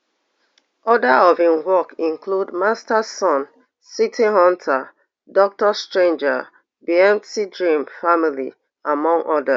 oda of im work include masters sun city hunter doctor stranger be mt dream family among odas